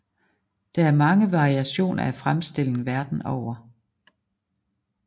Der er mange variationer af fremstillingen verden over